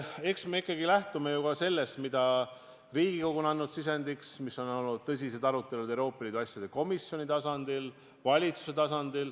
Eks me ikkagi lähtume ju sellest, mida Riigikogu on sisendiks andnud ning mis on olnud tõsise arutelu all Euroopa Liidu asjade komisjoni ja valitsuse tasandil.